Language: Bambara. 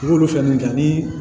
I b'olu fɛn min kɛ ni